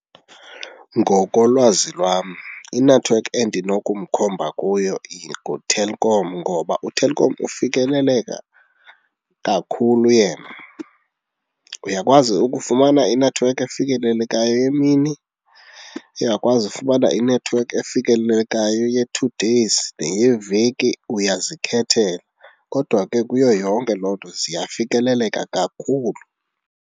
Ngokolwazi lwam, inethiwekhi endinokumkhomba kuyo nguTelkom ngoba uTelkom ufikeleleka kakhulu yena. Uyakwazi ukufumana inethiwekhi efikelelekayo emini, uyakwazi ufumana inethiwekhi efikelelekayo ye-two days, eyeveki, uyazikhethela kodwa ke kuyo yonke loo nto ziyafikeleleka kakhulu.